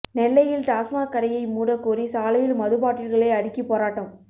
நெல்லையில் டாஸ்மாக் கடையை மூட கோரி சாலையில் மது பாட்டில்களை அடுக்கி போராட்டம்